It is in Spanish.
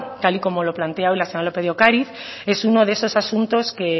tal y como lo plantea hoy la señora lópez de ocariz es uno de esos asuntos que